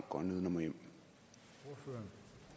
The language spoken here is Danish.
går nedenom og hjem